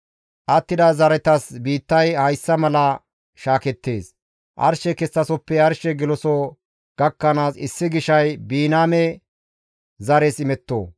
«Attida zaretas biittay hayssa mala shaakettees. Arshe kessasoppe arshe geloso gakkanaas, issi gishay Biniyaame zares imetto.